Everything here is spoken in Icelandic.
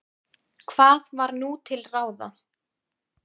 Hvað var nú til ráða?